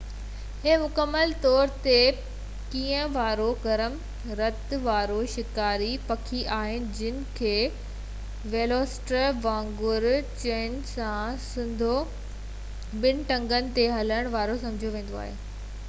هي مڪمل طور تي کنڀن وارو گرم رت وارو شڪاري پکي آهي جنهن کي ويلوسيريپٽر وانگر چنبن سان سڌو سنئون ٻن ٽنگن تي هلڻ وارو سمجهيو ويندو هو